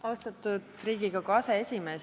Austatud Riigikogu aseesimees!